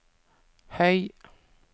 høy